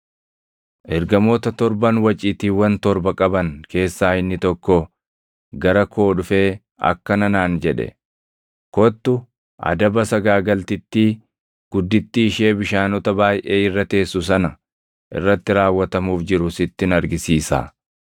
Ergamoota torban waciitiiwwan torba qaban keessaa inni tokko gara koo dhufee akkana naan jedhe; “Kottu! Adaba sagaagaltittii guddittii ishee bishaanota baayʼee irra teessu sana irratti raawwatamuuf jiru sittin argisiisaa.